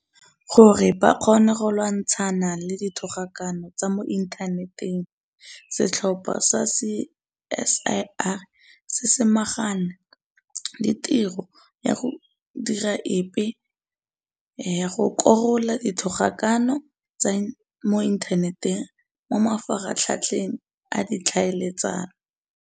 Gore ba kgone go lwantshana le dithogakano tsa mo inthaneteng, setlhopha sa CSIR se samagane le tiro ya go dira epe ya go korola dithogakano tsa mo inthaneteng mo mafaratlhatlheng a ditlhaeletsano.